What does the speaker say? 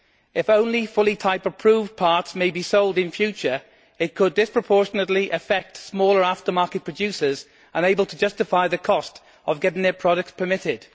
If only fully type approved parts may be sold in future, it could disproportionately affect smaller aftermarket producers who are unable to justify the cost of getting their products permitted.